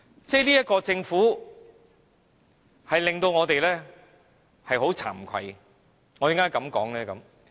這個政府令到我們很慚愧，為何我這樣說呢？